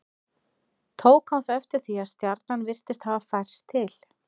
Tók hann þá eftir því að stjarnan virtist hafa færst til.